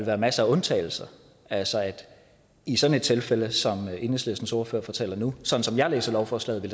være masser af undtagelser altså at i sådan et tilfælde som enhedslistens ordfører fortæller om nu sådan som jeg læser lovforslaget vil